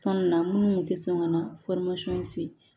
Tɔn nin na minnu kun tɛ sɔn ka na se